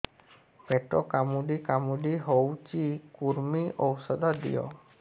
ପେଟ କାମୁଡି କାମୁଡି ହଉଚି କୂର୍ମୀ ଔଷଧ ଦିଅ